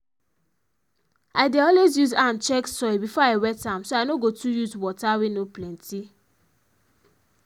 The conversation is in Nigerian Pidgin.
i dey always use hand check soil before i wet am so i no go too use water wey no plenty